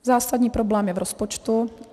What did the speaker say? Zásadní problém je v rozpočtu.